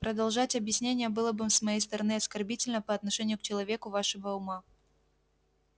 продолжать объяснение было бы с моей стороны оскорбительно по отношению к человеку вашего ума